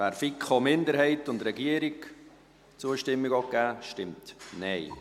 wer der FiKo-Minderheit und der Regierung die Zustimmung geben will, stimmt Nein.